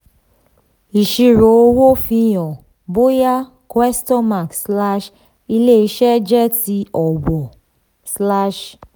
ìṣirò owó fihàn bóyá question mark slash ilé iṣẹ́ jẹ́ ti ọ̀wọ̀ slash